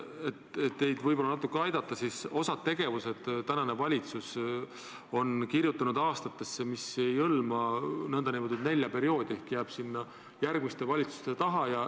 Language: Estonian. Et teid võib-olla natuke aidata, ütlen, et osa tegevusi on valitsus kirjutanud aastatesse, mis ei hõlma nn nelja aasta perioodi ehk jääb järgmiste valitsuste teha.